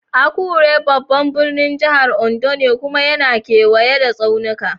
Akure babban birnin jihar Ondo ne kuma yana kewaye da tsaunuka.